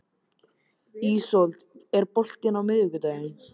Ísold, er bolti á miðvikudaginn?